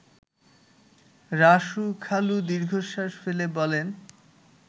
রাসু খালু দীর্ঘশ্বাস ফেলে বলেন